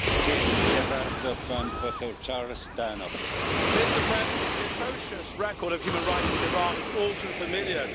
Mr President, the atrocious record of human rights in Iran is all too familiar to us in this House.